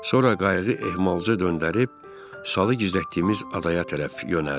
Sonra qayıqı ehmalcə döndərib salı gizlətdiyimiz adaya tərəf yönəldik.